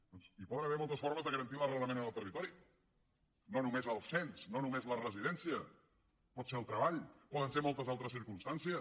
doncs hi poden haver moltes formes de garantir l’arrelament en el territori no només el cens no només la residència pot ser el treball poden ser moltes altres circumstàncies